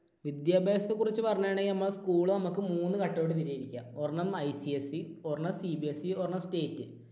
വിദ്യാഭ്യാസത്തെ കുറിച്ച് പറയുകയാണെങ്കിൽ നമ്മ school നമുക്ക് മൂന്ന് ഘട്ടമായിട്ട് തിരി തിരിക്കാം. ഒരെണ്ണം ICSE ഒരെണ്ണം CBSE ഒരെണ്ണം state